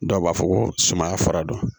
Dɔw b'a fɔ ko sumaya fara don